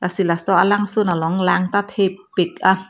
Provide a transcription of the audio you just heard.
laso alangsun long lang ta thepik an.